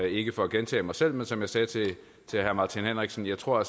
ikke for at gentage mig selv men som jeg sagde til herre martin henriksen tror